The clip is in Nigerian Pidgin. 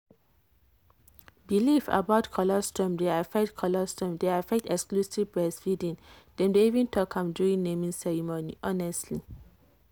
belief about colostrum dey affect colostrum dey affect exclusive breastfeeding. dem dey even talk am during naming ceremony. honestly.